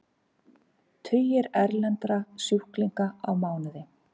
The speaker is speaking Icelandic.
Tugir erlendra sjúklinga á mánuði